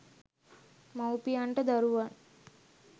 මවුපියන්ට දරුවන්